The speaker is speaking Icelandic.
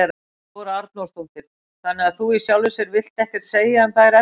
Þóra Arnórsdóttir: Þannig að þú í sjálfu sér vilt ekkert segja um þær efnislega?